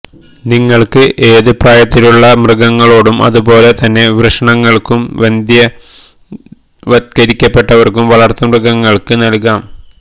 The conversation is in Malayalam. നിങ്ങൾക്ക് ഏത് പ്രായത്തിലുമുള്ള മൃഗങ്ങളോടും അതുപോലെ തന്നെ വൃഷണങ്ങൾക്കും വന്ധ്യവത്കരിക്കപ്പെട്ടവർക്കും വളർത്തുമൃഗങ്ങൾക്ക് നൽകാം